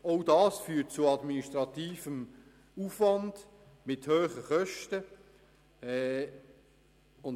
Das würde ebenfalls zu administrativem Aufwand mit hohen Kosten führen.